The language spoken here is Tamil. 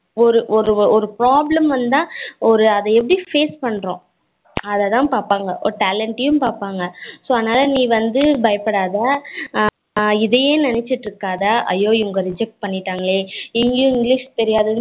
ஒரு ஒரு problem வந்தா ஒரு அத எப்படி face பண்ணுறோம் அத தான் பாப்பங்க talent யும் பாப்பங்க so அதனால நீ வந்து பயபடாத இதயே நிணச்சீட்டு இருக்காத ஐயோ இவங்க reject பன்னிடாங்களே இங்கயும் english தெரியாதே